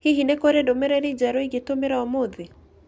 Hihi nĩ kũrĩ ndũmĩrĩri njerũ ingĩtũmĩra ũmũthĩ?